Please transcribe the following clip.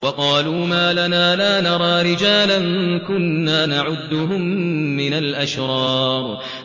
وَقَالُوا مَا لَنَا لَا نَرَىٰ رِجَالًا كُنَّا نَعُدُّهُم مِّنَ الْأَشْرَارِ